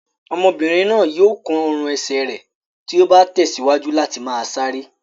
Ọmọbìnrin náà yóò kán ọrùn-ẹsẹ̀ rẹ̀ tí ó bá tẹ̀síwájú láti máa sáré.